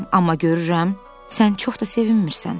Amma görürəm, sən çox da sevinmirsən.